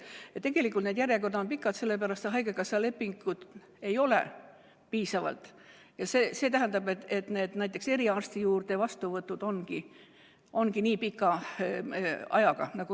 Tegelikult on järjekorrad pikad, sest haigekassa lepinguid ei ole piisavalt, ja see tähendab, et näiteks eriarsti juurde vastuvõtule saamine võtabki nii pikalt aega.